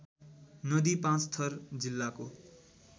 नदी पाँचथर जिल्लाको